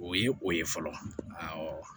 O ye o ye fɔlɔ